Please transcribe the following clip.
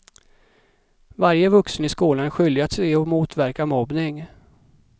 Varje vuxen i skolan är skyldig att se och motverka mobbning.